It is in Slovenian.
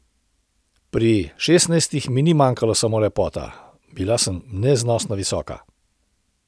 Pri šestnajstih mi ni manjkala samo lepota, bila sem neznosno visoka.